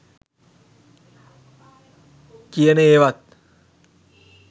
කියන ඒවත්